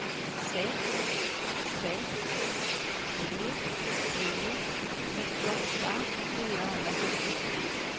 sex sex tre tre sjuttioåtta fyrahundrasextiotvå